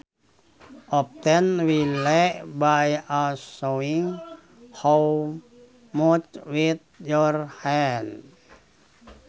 Often while by a showing how much with your hands